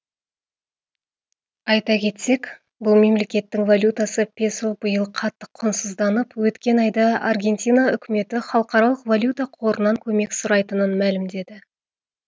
айта кетсек бұл мемлекеттің валютасы песо биыл қатты құнсызданып өткен айда аргентина үкіметі халықаралық валюта қорынан көмек сұрайтынын мәлімдеді